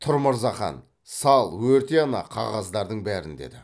тұр мырзахан сал өрте ана қағаздардың бәрін деді